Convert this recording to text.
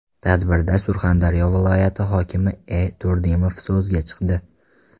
Tadbirda Surxondaryo viloyati hokimi E. Turdimov so‘zga chiqdi.